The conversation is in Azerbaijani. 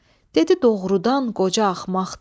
Dedi doğrudan qoca axmaqdır.